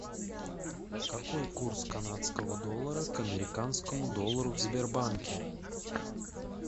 какой курс канадского доллара к американскому доллару в сбербанке